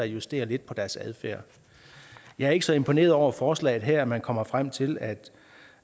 justerer lidt på deres adfærd jeg er ikke så imponeret over forslaget her man kommer frem til at